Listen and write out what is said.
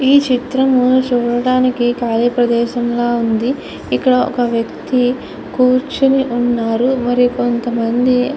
ఈ చిత్రం చూడడానికి కాళీ ప్రదేశం లాగా ఉంది. ఇక్కడ ఒక వ్యక్తి కూర్చొని ఉన్నాడు. మరి కొంతమంది --